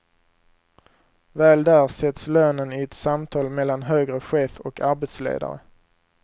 Väl där sätts lönen i ett samtal mellan högre chef och arbetsledare.